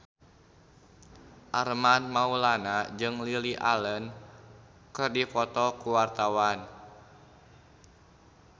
Armand Maulana jeung Lily Allen keur dipoto ku wartawan